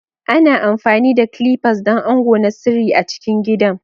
Ana amfani da clippers don ango na sirri a cikin gidan.